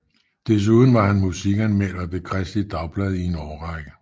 Desuden var han musikanmelder ved Kristeligt Dagblad i en årrække